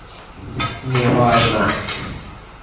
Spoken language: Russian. неважно